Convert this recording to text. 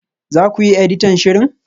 Za ku yi editan shirin?